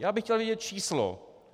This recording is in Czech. Já bych chtěl vědět číslo.